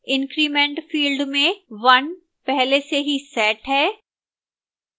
increment field में 1 पहले से ही set है